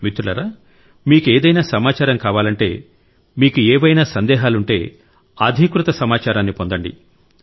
మిత్రులారా మీకు ఏదైనా సమాచారం కావాలంటే మీకు ఏవైనా సందేహాలుంటే అధీకృత సమాచారాన్ని పొందండి